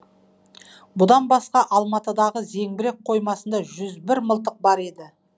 бұдан басқа алматыдағы зеңбірек қоймасында жүз бір мылтық бар еді